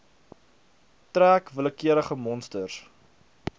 trek willekeurige monsters